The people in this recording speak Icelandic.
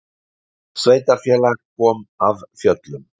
Sveitarfélag kom af fjöllum